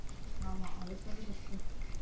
ஆமா அத சொல்லு first உ